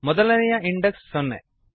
ಮೊದಲೆನೇಯ index ಸೊನ್ನೆ